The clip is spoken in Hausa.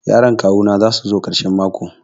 Yaran kawu na za su zo karshen mako.